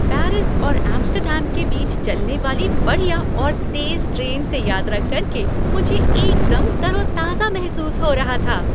Paris और Amsterdam के बीच चलने वाली बढ़िया और तेज़ ट्रेन से यात्रा करके मुझे एकदम तरोताजा महसूस हो रहा था।